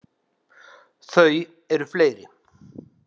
Þau eru fleiri.